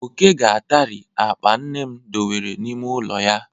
Oke ga-atari akpa nne m dobere n'ime ụlọ ya.